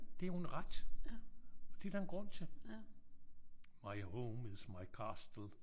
Det er jo en ret. Og det er der en grund til. My home is my castle